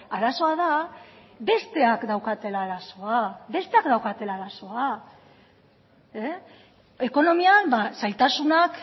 arazoa da besteak daukatela arazoa ekonomian zailtasunak